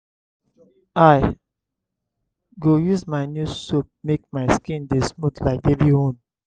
i go use my new soap make my skin dey smooth like baby own.